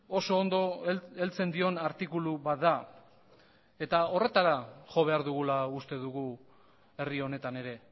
oso ondo heltzen dion artikulu bat da horretara jo behar dugula uste dugu herri honetan ere